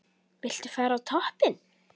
Viltu fara á toppinn?